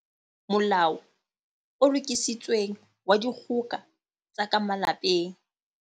Molao o Lokisitsweng wa Dikgoka tsa ka Malapeng.